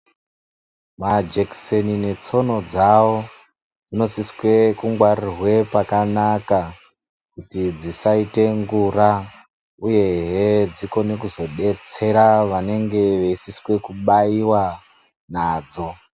Majekiseni netsono dzawo dzinosiswe kungwarirwe pakanaka kuti dzisaite ngura. Uyehe dzikone kuzodetsera vanenge veisiswe kubaiwa nadzo.